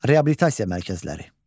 Reabilitasiya mərkəzləri.